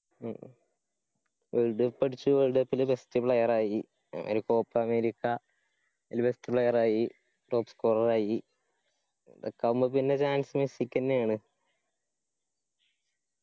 മ് ഉന്തിപ്പിടിച് world cup ല് best player ആയി. ഇനിയിപ്പോ copa america അയില് best player ആയി top scorer ആയി. ഇതൊക്കെ ആവുമ്പക്ക് പിന്ന chance മെസ്സിക്കെന്നെയാണ്.